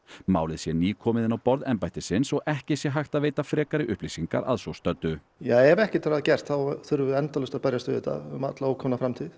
málið sé nýkomið inn á borð embættisins og ekki sé hægt að veita frekari upplýsingar að svo stöddu ef ekkert er að gert þurfum við endalaust að berjast við þetta um alla ókomna framtíð